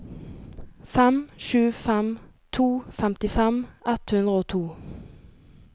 fem sju fem to femtifem ett hundre og to